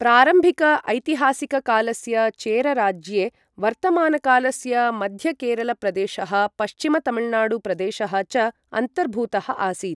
प्रारम्भिक ऐतिहासिककालस्य चेर राज्ये, वर्तमानकालस्य मध्य केरल प्रदेशः, पश्चिम तमिलनाडु प्रदेशः च अन्तर्भूतः आसीत्।